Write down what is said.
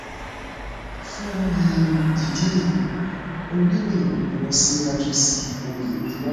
fún um ìdí èyí o nílò ìrànlọwọ síwájú síi o lè bi wá